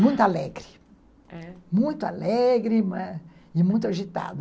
Muito alegre, é, muito alegre e muito agitada.